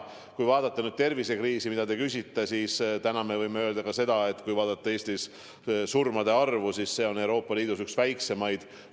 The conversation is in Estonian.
Kui vaadata tervisekriisi, mille kohta te küsisite, siis täna me võime öelda ka seda, et kui vaadata Eestis surmade arvu, siis see on Euroopa Liidus üks väikseimaid.